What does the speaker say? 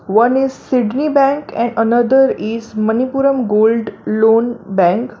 One is sydni bank and another is manipuram gold loan bank.